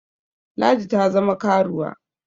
Ladi ta zama karuwa